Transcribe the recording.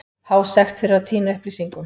Há sekt fyrir að týna upplýsingum